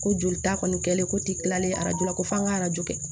Ko joli ta kɔni kɛlen ko tilalen arajo la ko f'an ka arajo kɛ